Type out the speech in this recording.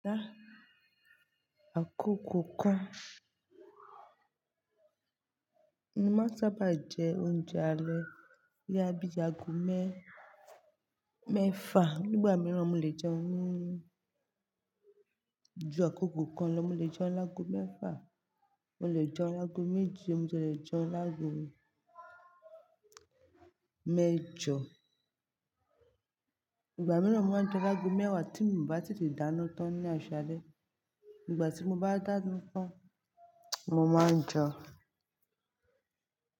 Dá àkókò kan. Mo máa sábà jẹ oúnjẹ alẹ́ bóyá bíi ago mẹ́fà. Nígbà mìíràn mo lè jẹ oúnjẹ ju àkokò kan lọ. Mo lè jẹun lágo mẹ́fà, mo lè jẹun lágo méjì, mo lè jẹun lágo mẹ́jọ. Ìgbà mìíràn mo máa ń jẹun lágo mẹ́wàá tí mi ò bá tètè dáná tán ní àsálẹ́. Nígbà tí mo bá dáná tán mo máa ńjẹun.